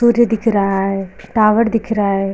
सूर्य दिख रहा है टावर दिख रहा है।